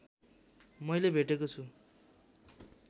मैले भेटेको छु